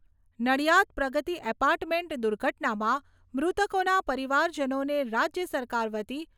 Nadiad Pragati apartment દુર્ઘટનામાં મૃતકોના પરિવારજનોને રાજ્ય સરકાર વતી રૂપિયા